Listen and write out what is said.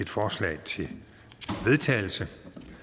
forslag til vedtagelse